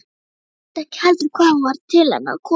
Mundi ekki heldur hvaðan hún var til hennar komin.